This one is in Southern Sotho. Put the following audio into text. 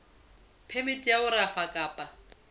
phemiti ya ho rafa kapa